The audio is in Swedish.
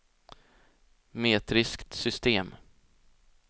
metriskt system